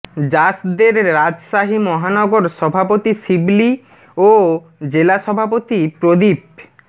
জাসদের রাজশাহী মহানগর সভাপতি শিবলী ও জেলা সভাপতি প্রদীপ